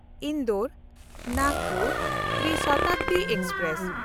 ᱤᱱᱫᱳᱨ–ᱱᱟᱜᱽᱯᱩᱨ ᱛᱨᱤ ᱥᱚᱛᱟᱵᱫᱤ express